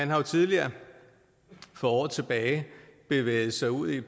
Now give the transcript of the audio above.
jo tidligere for år tilbage bevæget sig ud i